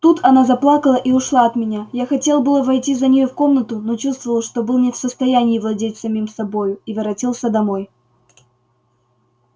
тут она заплакала и ушла от меня я хотел было войти за нею в комнату но чувствовал что был не в состоянии владеть самим собою и воротился домой